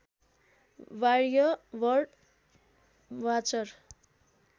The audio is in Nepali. बाहृय बर्ड वाचर